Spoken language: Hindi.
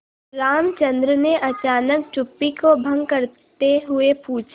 रामचंद्र ने अचानक चुप्पी को भंग करते हुए पूछा